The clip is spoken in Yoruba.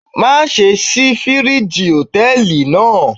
Má ṣe ṣí fíríjì Hòtẹ́lìì náà.